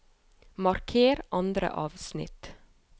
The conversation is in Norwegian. Marker andre avsnitt